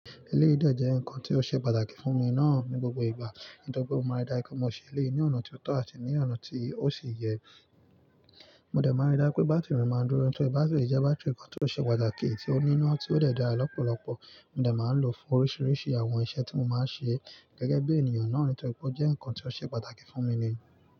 Ilé idẹ jẹ́ nǹkan tí ó ṣe pàtàkì fún mi náà ní gbogbo ìgbà. Nítorí pé mo máa rí dá pé mo ṣe eleyii ní ọ̀nà ti ó tọ́ àti ní ọ̀nà tí ó sì yẹ. Mo dẹ̀ máa n rí dá pé bátìrì máa n dúró, nítorí bátìrì jẹ́ bátìrì kan tí ó ṣe pàtàkì tí ó níná tí ó dẹ̀ dára lọ́pọ̀lọpọ̀. Mo dẹ̀ máa lòó fún oríṣiríṣi àwọn iṣẹ́ tí mo máa ń ṣe gẹ́gẹ́ bí ènìyàn náà, nítorí pé ó jẹ́ nǹkan tí ó ṣe pàtàkì fún mi ni.